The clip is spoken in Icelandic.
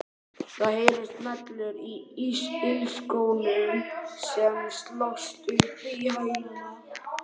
Það heyrast smellir í ilskónum sem slást upp í hælana.